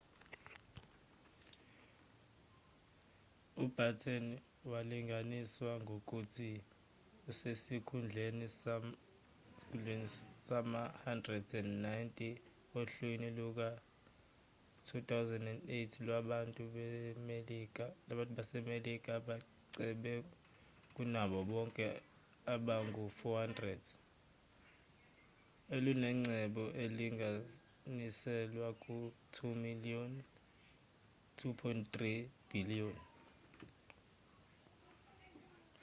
ubatten walinganiswa ngokuthi usesikhundleni sama-190 ohlwini luka-2008 lwabantu basemelika abacebe kunabo bonke abangu-400 elunengcebo elinganiselwa ku-$2.3 bhiliyoni